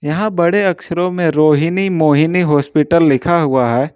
यहाँ बड़े अक्षरों में रोहिणी मोहिनी हॉस्पिटल लिखा हुआ है।